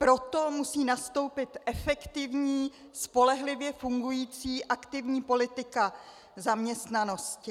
Proto musí nastoupit efektivní, spolehlivě fungující aktivní politika zaměstnanosti.